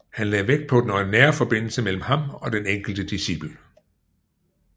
Han lagde vægt på den nære forbindelse mellem ham og den enkelte discipel